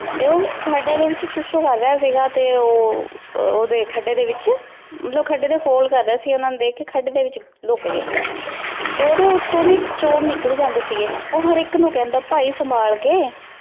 ਤੇ ਖਾਦੀ ਡੀ ਵਿਚ ਤੇ ਊ ਓਡੀ ਖਾਦੀ ਦੇ ਵਿਚ ਮਤਲਬ ਖਾਦੀ ਡੀ ਕੋਲ ਕਰ ਰਯ ਸੀਗਾ ਓਹਨਾਂ ਨੂ ਦੇਖ ਕੇ ਖਾਦੀ ਦੇ ਵਿਚ ਲੋਕ ਗਯਾ ਤੇ ਓਦੋਂ ਓਤੋੰ ਦੀ ਚੋਰ ਨਿਕਲ ਜਾਂਦੀ ਸੀਗੇ ਊ ਹਰ ਏਇਕ ਨੂ ਕਹੰਦਾ ਪੈ ਸੰਭਾਲ ਕੇ